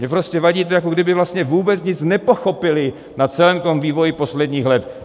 Mně prostě vadí to, jako kdyby vlastně vůbec nic nepochopili na celém to vývoji posledních let.